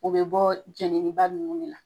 O be bɔ jɛnini ba nunnu de la.